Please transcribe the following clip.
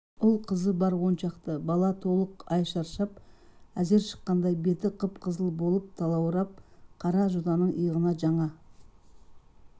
ұл-қызы бар оншақты бала толық ай шаршап әзер шыққандай бет қып-қызыл болып талаурап қара жотаның иығына жаңа